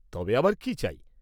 তবে আবার কি চাই?